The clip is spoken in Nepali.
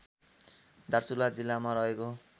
दार्चुला जिल्लामा रहेको